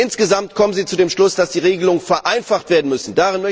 Insgesamt kommen Sie zu dem Schluss, dass die Regelungen vereinfacht werden müssen.